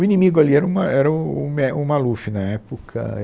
O inimigo ali era o ma, era o o mé, o Maluf, na época.